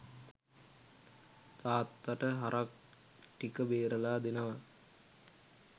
තාත්තට හරක් ටික බේරල දෙනව.